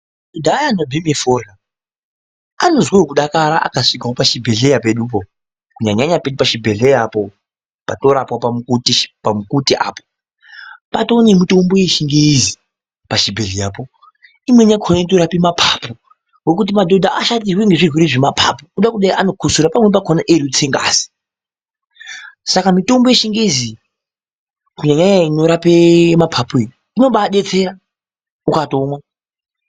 ..dhaya anobheme forya anozwewo kudakara akasvikewo pachibhelhleya pedupo kunyanyanya pedu pachibhehleya apo patinorapwa pamukutishi, pamukute apo. Paatonemitombo yechingezi pachibhehleyapo. Imweni yakona inotorape mapapu ngokuti madhodha ashatirwa ngezvirwere zvemapapu, kuda kudai anokotsora. Pamweni pakona eirutse ngazi. Saka mitombo yechingezi iyi kunyanya-nyanya inorape mapapu iyo, inobaadetsera ukatomwa.